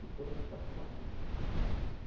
De todas as participações.